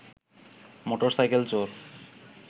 motor cycle চোর